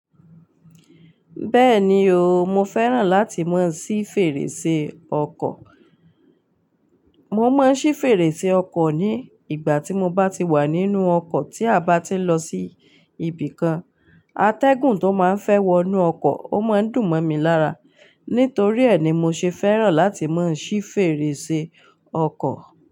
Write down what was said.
Bẹ́ẹ̀ni o, mo fẹ́ràn láti máa ṣí fèrèsé ọkọ̀. Mo máa ń ṣí fèrèsé ọkọ̀ ní ìgbà tí mo bá ti wà nínú ọkọ̀ tí a bá ti ń lọ sí ibì kan. Atẹ́gùn tó máa ń fẹ́ wọnú ọkọ̀, o máa ń dùn mọ́ mi lára. Nítorí ẹ́ ni mo ṣe fẹ́ràn láti máa ṣí fèrèsé ọkọ̀